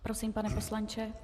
Prosím, pane poslanče.